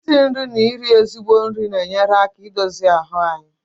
isi nri na iri ezigbo nri na-enyere aka i dozi ahụ anyị